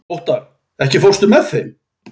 Óttarr, ekki fórstu með þeim?